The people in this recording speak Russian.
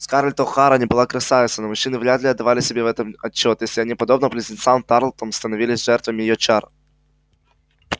скарлетт охара не была красавицей но мужчины вряд ли отдавали себе в этом отчёт если они подобно близнецам тарлтонам становились жертвами её чар